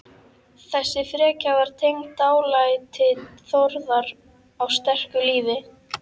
Þessi frekja var tengd dálæti Þórðar á sterku lífi.